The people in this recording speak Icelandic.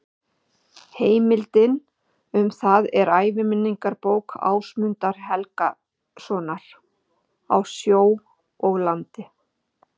Heimildin um það er æviminningabók Ásmundar Helgasonar, Á sjó og landi.